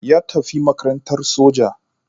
Ya tafi makarantar soja